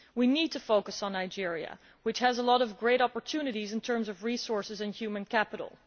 We need to focus on Nigeria, which has a lot of great opportunities in terms of resources and human capital.